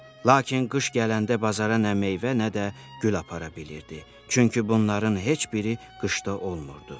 Lakin qış gələndə bazara nə meyvə, nə də gül apara bilirdi, çünki bunların heç biri qışda olmurdu.